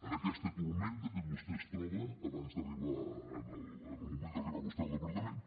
en aquesta tempesta que vostè es troba en el moment d’arribar vostè al departament